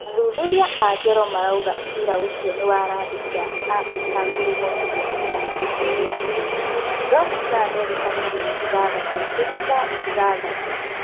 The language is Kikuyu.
Athuthuria a ngero marauga cira ũcio nĩwarandi cia Afirika Ngurumo mirioni igana rĩmwe rĩa igĩrĩ (Ndora cia Amerika mirioni ithathatũ turumo ithathatũ)